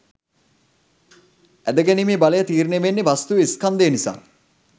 ඇද ගැනීමේ බලය තීරණය වෙන්නෙ වස්තුවේ ස්කන්ධය නිසා.